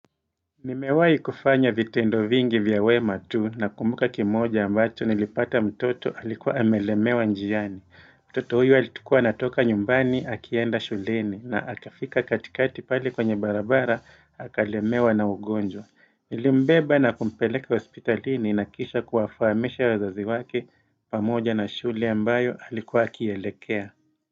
Nimewai kufanya vitendo vingi vya wema tu nakumbuka kimoja ambacho nilipata mtoto alikuwa amelemewa njiani. Mtoto huyu alikua anatoka nyumbani akienda shuleni na akafika katikati pali kwenye barabara akalemewa na ugonjwa. Nilimbeba na kumpeleka hospitalini na kisha kuwafahamisha wazazi wake pamoja na shule ambayo alikuwa akielekea.